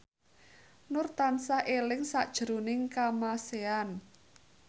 Nur tansah eling sakjroning Kamasean